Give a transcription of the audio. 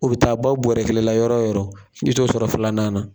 O bi taa ban bɔrɔ kelen la yɔrɔ o yɔrɔ, i t'o sɔrɔ filanan na.